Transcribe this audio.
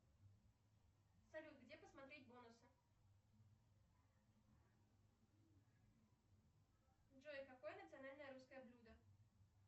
салют где посмотреть бонусы джой какое национальное русское блюдо